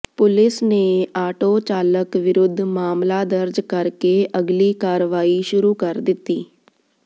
police ਨੇ auto ਚਾਲਕ ਵਿਰੁੱਧ ਮਾਮਲਾ ਦਰਜ ਕਰਕੇ ਅਗਲੀ ਕਾਰਵਾਈ ਸ਼ੁਰੂ ਕਰ ਦਿੱਤੀ ਹੈ